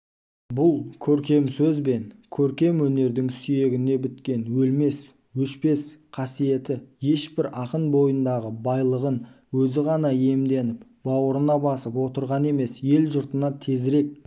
бұл көркем сөз бен көркем өнердің сүйегіне біткен өлмес өшпес қасиеті ешбір ақын бойындағы байлығын өзі ғана иемденіп бауырына басып отырған емес ел-жұртына тезірек